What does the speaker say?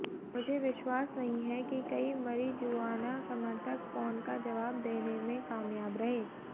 मुझे विश्वास नहीं है कि कई मारिजुआना समर्थक फोन का जवाब देने में कामयाब रहे